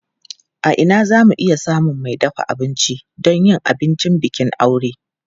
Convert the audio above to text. A ina za mu iya samun mai dafa abinci don yin abincin bikin aure?